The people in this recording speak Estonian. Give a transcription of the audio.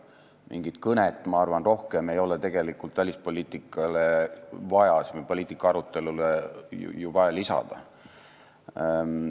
Mingit kõnet, ma arvan, ei ole välispoliitika arutelule ju vaja lisada.